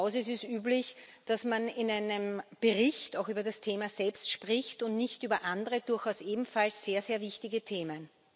Hier im Hause ist es üblich, dass man in einem Bericht auch über das Thema selbst spricht und nicht über andere durchaus ebenfalls sehr, sehr wichtige Themen.